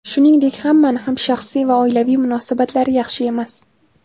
Shuningdek, hammani ham shaxsiy va oilaviy munosabatlari yaxshi emas.